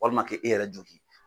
Walima k' e yɛrɛ joki.